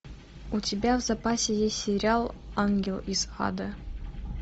у тебя в запасе есть сериал ангел из ада